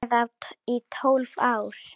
Eða í tólf ár?